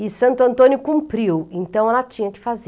E Santo Antônio cumpriu, então ela tinha que fazer.